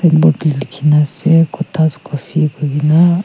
board tae likhina ase cothas coffee koina.